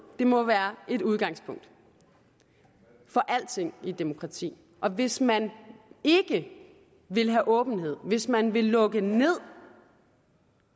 må være et udgangspunkt for alting i et demokrati hvis man ikke vil have åbenhed hvis man vil lukke ned